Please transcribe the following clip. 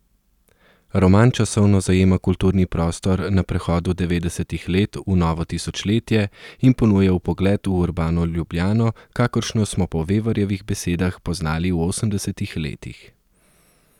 Roman časovno zajema kulturni prostor na prehodu devetdesetih let v novo tisočletje in ponuja vpogled v urbano Ljubljano, kakršno smo po Vevarjevih besedah poznali v osemdesetih letih.